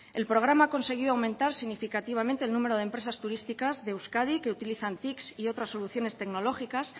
el programa ha conseguido aumentar significativamente el número de empresas turísticas de euskadi que utilizan tics y otras soluciones tecnológicas